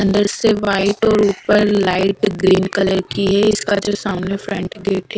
अंदर से वाइट और ऊपर लाइट ग्रीन कलर की हैं इसका जो सामने फ्रंट गेट हैं--